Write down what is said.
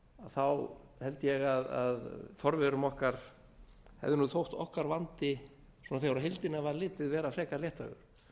þá held ég að forverum okkar hefði þótt okkar vandi þegar á heildina var litið vera frekar léttvægur